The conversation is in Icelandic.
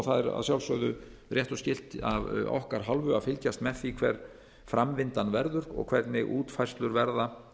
það er að sjálfsögðu rétt og skylt af okkar hálfu að fylgjast með því hver framvindan verður og hvernig útfærslur verða